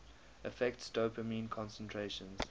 affects dopamine concentrations